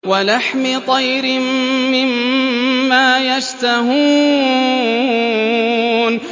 وَلَحْمِ طَيْرٍ مِّمَّا يَشْتَهُونَ